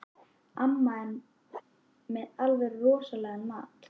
Amma er með alveg rosalegan mat.